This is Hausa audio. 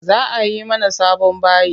Za ayi mana sabon bayi.